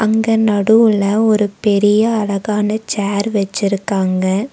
இங்க நடுவுல ஒரு பெரிய அழகான சேர் வச்சிருக்காங்க.